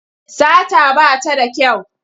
Sata ba ta da kyau.